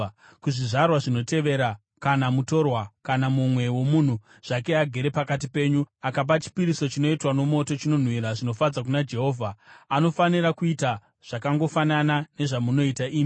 Kuzvizvarwa zvinotevera kana mutorwa kana mumwe munhuwo zvake agere pakati penyu akapa chipiriso chinoitwa nomoto, chinonhuhwira zvinofadza Jehovha, anofanira kuita zvakangofanana nezvamunoita imi.